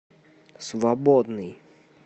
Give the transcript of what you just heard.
свободный